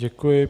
Děkuji.